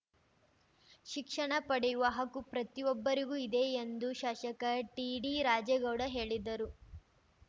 ಶಿಕ್ಷಣ ಪಡೆಯುವ ಹಕ್ಕು ಪ್ರತಿಯೊಬ್ಬರಿಗೂ ಇದೆ ಎಂದು ಶಾಸಕ ಟಿಡಿ ರಾಜೇಗೌಡ ಹೇಳಿದರು